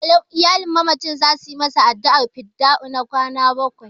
Iyalin mamacin za su yi masa addu'ar fidda'u na kwana bakwai.